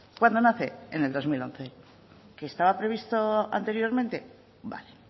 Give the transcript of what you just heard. cuándo nace en el dos mil once que estaba previsto anteriormente vale